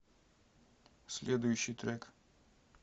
следующий трек